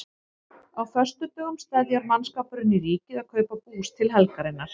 Á föstudögum steðjar mannskapurinn í Ríkið að kaupa bús til helgarinnar.